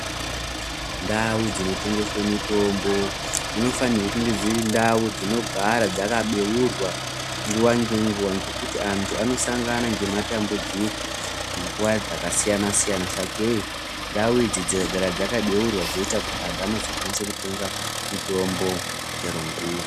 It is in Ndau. Ndau dzinotengeswe mitombo dzinofanirwa kunge dziri ndau dzinogara dzakabeurwa nguwa -ngenguwa. Ngekuti antu anosangana nematambudziko munguwa dzakasiyana-siyana. Sakei ndau idzi dzikagara dzakabeurwa zveita kuti vantu vanozokasike kutenga mutombo chero nguwa.